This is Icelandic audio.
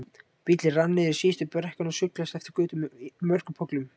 Bíllinn rann niður síðustu brekkuna og sullaðist eftir götu með mörgum pollum.